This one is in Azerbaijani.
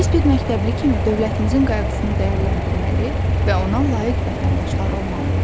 Biz bir məktəbli kimi dövlətimizin qayğısını dəyərləndirməli və ona layiq vətəndaşlar olmalıyıq.